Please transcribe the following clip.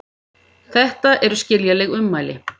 Þetta eru skiljanleg ummæli